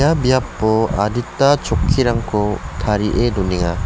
biapo adita chokkirangko tarie donenga.